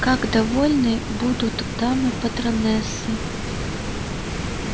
как довольны будут дамы-патронессы